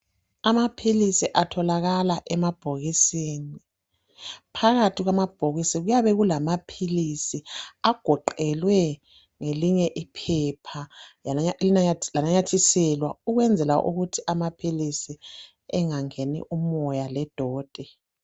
Amaphilisi atholakala emabhokisini. Phakathi kwamabhokisi kuyabe kulamaphilisi agoqelwe ngelinye iphepha lananyathiselwa ukwenzela ukuthi amaphilisi engangeni umoya ledoti.